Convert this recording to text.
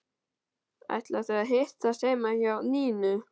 Ætla þau að hittast heima hjá Nínu?